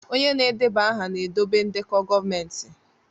Onye na-edeba aha na-edobe ndekọ gọọmentị